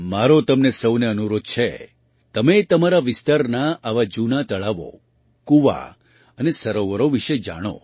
મારો તમને સહુને અનુરોધ છે તમે તમારા વિસ્તારના આવાં જૂનાં તળાવો કૂવા અને સરોવરો વિશે જાણો